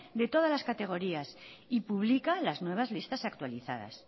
de todas las categorías y publica las nuevas listas actualizadas